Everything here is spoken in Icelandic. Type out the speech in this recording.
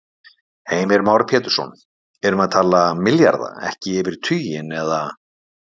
Heimir Már Pétursson: Erum við að tala milljarða, ekki yfir tuginn, eða?